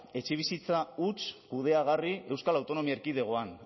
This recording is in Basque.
etxebizitza huts kudeagarri euskal autonomia erkidegoan